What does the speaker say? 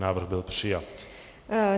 Návrh byl přijat.